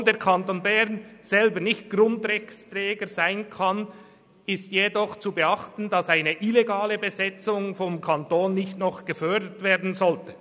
Obschon der Kanton Bern selber nicht Grundrechtspfleger sein kann, ist jedoch zu beachten, dass eine illegale Besetzung vom Kanton nicht noch gefördert werden sollte.